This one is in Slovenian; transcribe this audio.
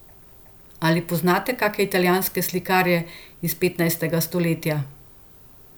Ali poznate kake italijanske slikarje iz petnajstega stoletja?